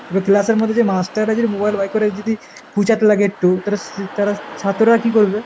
এবার class এর মধ্যে master রা যদি mobile বার করে যদি খুঁচাতে লাগে একটু তালে, তারা ছাত্ররা আর কি করবে ?